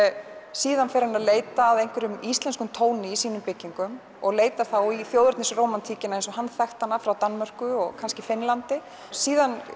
síðan fer hann að leita að einhverjum íslenskum tóni í sínum byggingum og leitar þá í þjóðernisrómantíkina eins og hann þekkti hana frá Danmörku og kannski Finnlandi síðan